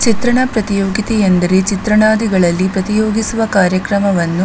ಚಿತ್ರಣ ಪ್ರತಿಯೋಗಿತೆ ಅಂದರೆ ಚಿತ್ರಣಾದಿಗಳಲ್ಲಿ ಪ್ರತಿಯೋಗಿಸುವ ಕಾರ್ಯಕ್ರಮವನ್ನು --